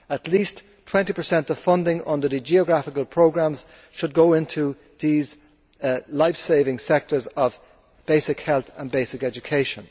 At least 20 of funding under the geographical programmes should go into these life saving sectors of basic health and basic education.